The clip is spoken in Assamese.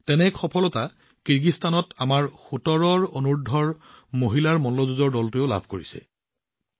তেনে এটা সফলতা কিৰ্গিস্তানত আমাৰ অনূৰ্ধ্ব সোতৰ মহিলা মল্লযুঁজ দলটোৱেও পঞ্জীয়ন কৰিছে